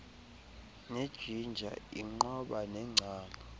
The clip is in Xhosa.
nejingja iinqoba neengcambu